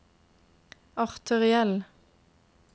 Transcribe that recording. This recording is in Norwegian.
arteriell